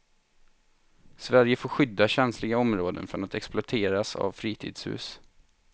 Sverige får skydda känsliga områden från att exploateras av fritidshus.